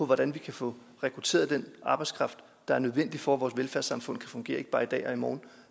hvordan vi kan få rekrutteret den arbejdskraft der er nødvendig for at vores velfærdssamfund kan fungere ikke bare i dag og i morgen